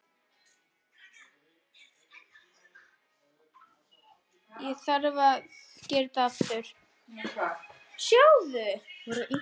Stjarnan lagði Keflavík í Faxaflóamóti kvenna í gærkvöld.